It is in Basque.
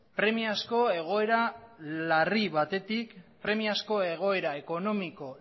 premiazko egoera ekonomiko